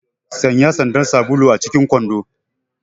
Sanya sandar sabulu acikin kwando!